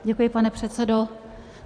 Děkuji, pane předsedo.